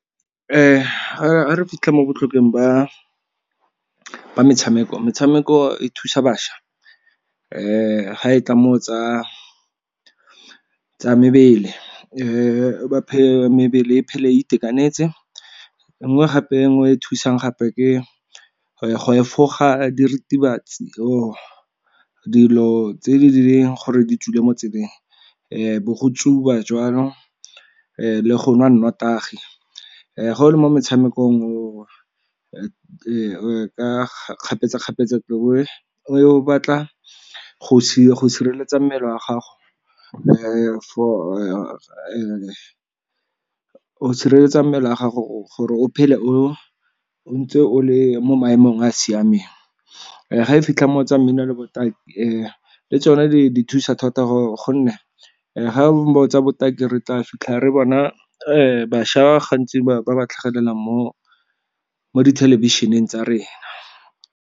ga re fitlha mo botlhokweng ba metshameko, metshameko e thusa bašwa ga e tla mo go tsa mebele mebele e phele e itekanetse, e nngwe gape e nngwe e e thusang gape ke go efoga diritibatsi or dilo tse di leng gore di tswile mo tseleng bo go tsuba jwalo, le go nwa nnotagi. Ga o le mo metshamekong kgapetsa-kgapetsa o batla go sireletsa mmele wa gago, o sireletsa mmele wa gago gore o phele o ntse o le mo maemong a a siameng. Ga e fitlha mo kgotsa mmino le botaki le tsone di thusa thata gonne ga ba o tsa botaki re tla fitlhang re bona bašwa gantsi ba ba tlhagelelang mo dithelebišeneng tsa rena.